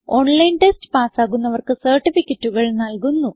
online test പാസ്സാകുന്നവർക്ക് സർട്ടിഫികറ്റുകൾ നല്കുന്നു